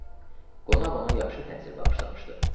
Qonaq ona yaxşı təsir bağışlamışdı.